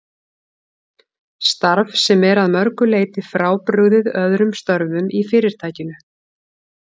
Starf sem er að mörgu leyti frábrugðið öðrum störfum í Fyrirtækinu.